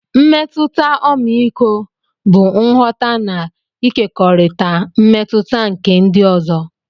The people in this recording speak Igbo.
Mmetụta ọmịiko bụ nghọta na ịkekọrịta mmetụta nke ndị ọzọ.